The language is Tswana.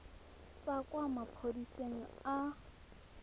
tswa kwa maphodiseng a a